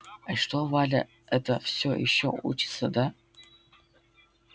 а что валя эта все ещё учится да